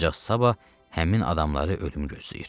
Ancaq sabah həmin adamları ölüm gözləyir.